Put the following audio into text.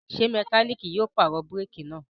Ṣé mẹkáníkì yóò pàrọ̀ búrékì náà?